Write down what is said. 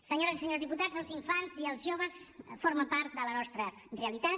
senyores i senyors diputats els infants i els joves formen part de la nostra realitat